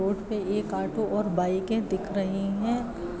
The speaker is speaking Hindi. रोड पे एक ऑटो और बाइकें दिख रही हैं।